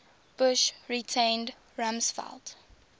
bush retained rumsfeld